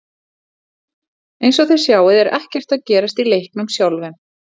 Eins og þið sjáið er ekkert að gerast í leiknum sjálfum.